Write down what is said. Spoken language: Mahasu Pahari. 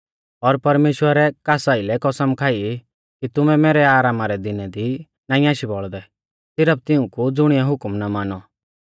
और परमेश्‍वरै कास आइलै कसम खाई कि तुमै मैरै आरामा रै दिनै दी नाईं आशी बोलदै सिरफ तिऊंकु ज़ुणिऐ हुकम ना मानौ